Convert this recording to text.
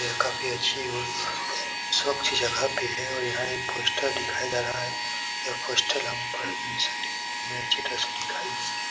यह काफी अच्छी और स्वच्छ जगह पे है और यहाँ एक पोस्टर दिखाया जा रहा है। यह पोस्टर में अच्छी तरह से दिखाई देंगे।